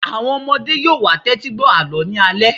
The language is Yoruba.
Àwọn ọmọdé yóò wá tẹ́tí gbọ́ àlọ́ ní alẹ́